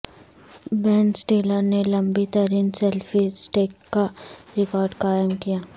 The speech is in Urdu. بین سٹیلر نے لمبی ترین سیلفی سٹک کا ریکارڈ قائم کیا